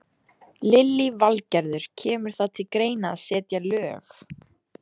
Lillý Valgerður: Kemur það til greina að setja lög?